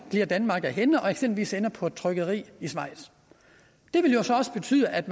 glider danmark af hænde og eksempelvis ender på et trykkeri i schweiz det vil jo så også betyde at